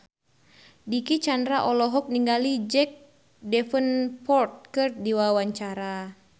Dicky Chandra olohok ningali Jack Davenport keur diwawancara